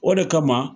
O de kama